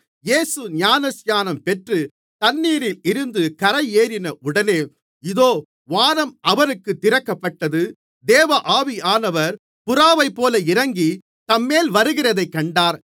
இயேசு ஞானஸ்நானம் பெற்று தண்ணீரிலிருந்து கரையேறின உடனே இதோ வானம் அவருக்குத் திறக்கப்பட்டது தேவ ஆவியானவர் புறாவைப்போல இறங்கி தம்மேல் வருகிறதைக் கண்டார்